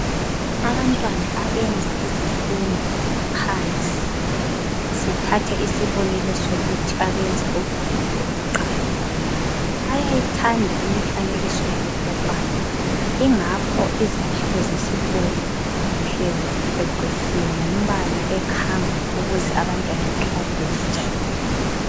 Abantwana abenza izifundo zaphansi sithathe isibonelo sokuthi abenza ugwalo lokuqala , bayayithanda imifanekiso yabopopayi yingakho izakhiwo zesikolo zihlala zicecisiwe ngompala okhangayo ukuthi abantwana bahlale bejabulile.